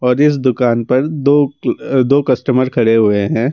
और इस दुकान पर दो अ कास्टमर खड़े हुए हैं।